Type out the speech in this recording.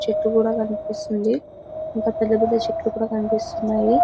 చెట్లు కూడా కనిపిస్తుంది. ఇంకా పెద్ద పెద్ద చెట్లుకూడా కనిపిస్తున్నాయి.